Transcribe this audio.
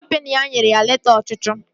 Kọmpini ya nyere ya leta ọchụchụ